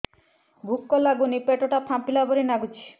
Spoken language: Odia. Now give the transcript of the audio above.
ଭୁକ ଲାଗୁନି ପେଟ ଟା ଫାମ୍ପିଲା ପରି ନାଗୁଚି